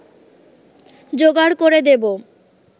যোগাড় করে দেব